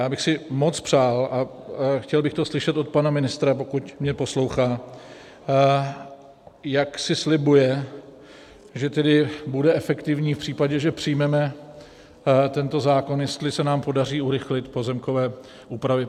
Já bych si moc přál, a chtěl bych to slyšet od pana ministra, pokud mě poslouchá, jak si slibuje, že tedy bude efektivní v případě, že přijmeme tento zákon, jestli se nám podaří urychlit pozemkové úpravy.